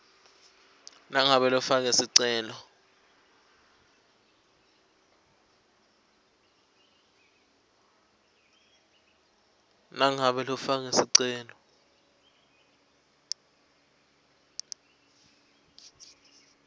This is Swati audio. nangabe lofake sicelo